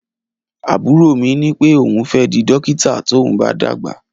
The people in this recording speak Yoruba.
Abúrò mí ni pẹ òhún fẹ dí dọkítà tòún bà dàgbá.